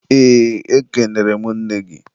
eee, ekenere m nne gị.